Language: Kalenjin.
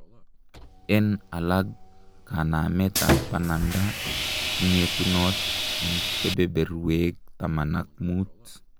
en alag, kanamet ap pananda kongetunot en kebeberweg taman ak mut